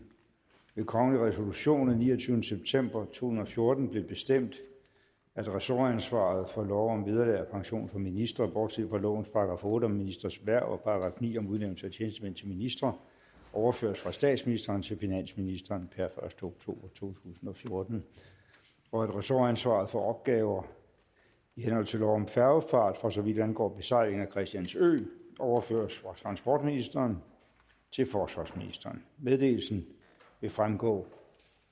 ved kongelig resolution af niogtyvende september tusind og fjorten blev bestemt at ressortansvaret for lov om vederlag og pension for ministre bortset fra lovens § otte om ministres hverv og § ni om udnævnelse af tjenestemænd til ministre overføres fra statsministeren til finansministeren per første oktober to tusind og fjorten og at ressortansvaret for opgaver i henhold til lov om færgefart for så vidt angår besejlingen af christiansø overføres fra transportministeren til forsvarsministeren meddelelsen vil fremgå